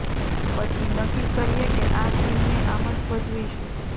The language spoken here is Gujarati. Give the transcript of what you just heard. પછી નક્કી કરીએ કે આ સીનને આમ જ ભજવીશું